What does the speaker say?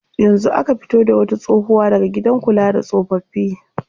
Yanzu aka fito da wata tsohuwa daga gidan kula da tsofaffi.